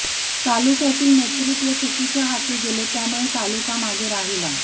तालुक्यातील नेतृत्व चुकीच्या हाती गेले त्यामुळे तालुका मागे राहिला